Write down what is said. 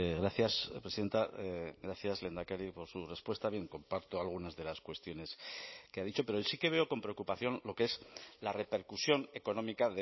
gracias presidenta gracias lehendakari por su respuesta bien comparto algunas de las cuestiones que ha dicho pero sí que veo con preocupación lo que es la repercusión económica